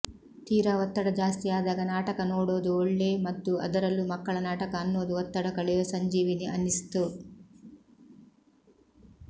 ತೀರಾ ಒತ್ತಡ ಜಾಸ್ತಿಯಾದಾಗ ನಾಟಕ ನೋಡೋದು ಒಳ್ಳೇ ಮದ್ದು ಅದರಲ್ಲೂ ಮಕ್ಕಳ ನಾಟಕ ಅನ್ನೋದು ಒತ್ತಡ ಕಳೆಯೋ ಸಂಜೀವಿನಿ ಅನ್ನಿಸ್ತು